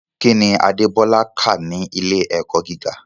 Kí ni Adébọ́lá kà ní ilé-ẹ̀kọ́ gíga?